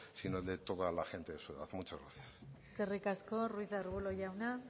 sino el de toda la gente de su edad muchas gracias eskerrik asko ruiz de arbulo jauna